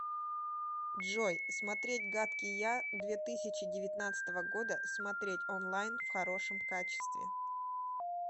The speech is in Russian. джой смотреть гадкий я две тысячи девятнадцатого года смотреть онлайн в хорошем качестве